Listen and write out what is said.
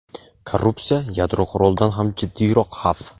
Korrupsiya – yadro qurolidan ham jiddiyroq xavf.